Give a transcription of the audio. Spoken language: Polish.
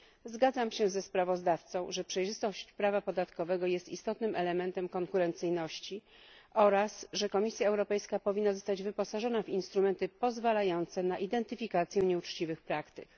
Zgadzam się ze sprawozdawcą, że przejrzystość prawa podatkowego jest istotnym elementem konkurencyjności, oraz że Komisja Europejska powinna zostać wyposażona w instrumenty pozwalające na identyfikację nieuczciwych praktyk.